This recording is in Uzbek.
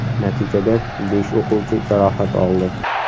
Natijada besh o‘quvchi jarohat oldi.